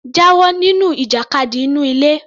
Jáwọ nínú ìjàkadì inú ilé